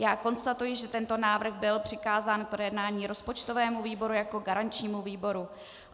Já konstatuji, že tento návrh byl přikázán k projednání rozpočtovému výboru jako garančnímu výboru.